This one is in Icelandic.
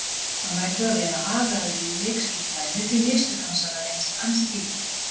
Hann verður að vera agaðri í leikskipulaginu því mistök hans hafa reynst ansi dýrkeypt.